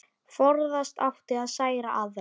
Forðast átti að særa aðra.